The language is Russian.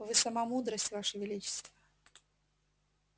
вы сама мудрость ваше величество